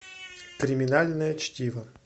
криминальное чтиво